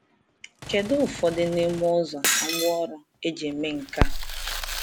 Kedu ụfọdụ n’ime ụzọ na ngwaọrụ e ji eme nke a?